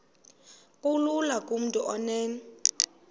kulula kumntu onen